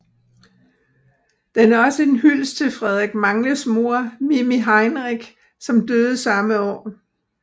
Den er også en hyldest til Frederik Magles mor Mimi Heinrich som døde samme år